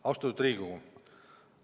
Austatud Riigikogu!